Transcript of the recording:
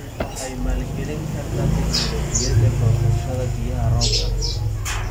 Waxay maalgelin kartaa tignoolajiyada goosashada biyaha roobka.